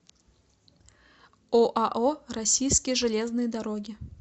оао российские железные дороги